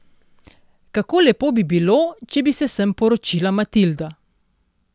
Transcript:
Kako lepo bi bilo, če bi se sem poročila Matilda.